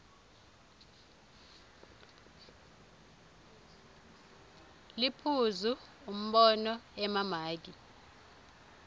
liphuzu umbono emamaki